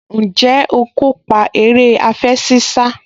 Ǹjẹ́ o kópa eré àfẹṣinsá?